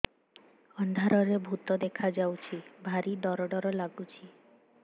ଅନ୍ଧାରରେ ଭୂତ ଦେଖା ଯାଉଛି ଭାରି ଡର ଡର ଲଗୁଛି